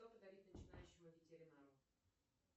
что подарить начинающему ветеринару